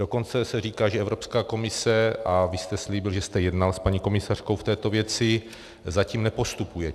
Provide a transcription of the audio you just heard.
Dokonce se říká, že Evropská komise - a vy jste slíbil, že jste jednal s paní komisařkou v této věci - zatím nepostupuje.